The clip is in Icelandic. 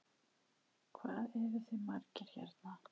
Hvað eruð þið margir hérna?